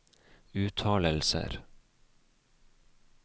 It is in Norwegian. uttalelser